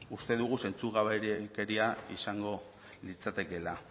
uste dugu zentzugabekeria izango litzatekeela